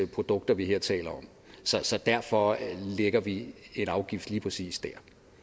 produkter vi her taler om så derfor lægger vi en afgift lige præcis der